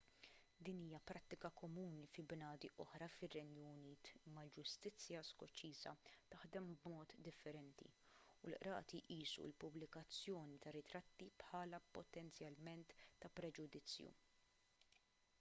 din hija prattika komuni fi bnadi oħra fir-renju unit imma l-ġustizzja skoċċiża taħdem b'mod differenti u l-qrati jqisu l-pubblikazzjoni ta' ritratti bħala potenzjalment ta' preġudizzju